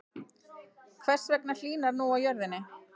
Hvers vegna hlýnar nú á jörðinni?